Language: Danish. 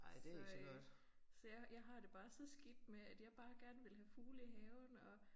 Så øh så jeg jeg har det bare så skidt med at jeg bare gerne ville have fugle i haven og